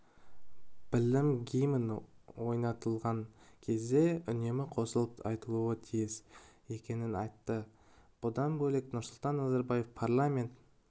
біліп гимн ойнатылған кезде үнемі қосылып айтуы тиіс екенін айтты бұдан бөлек нұрсұлтан назарбаев парламент